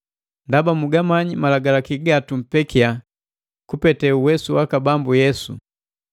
Ndaba mugamanya malagalaki gatumpekia kupete uwesu waka Bambu Yesu.